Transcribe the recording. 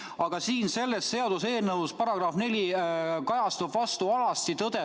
Aga siin selles seaduseelnõu §-s 4 vaatab vastu alasti tõde.